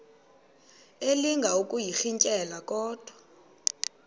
elinga ukuyirintyela kodwa